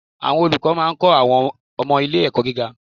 Àwọn olùkọ́ máa ń kọ́ àwọn ọmọ ilé ẹ̀kọ́ gíga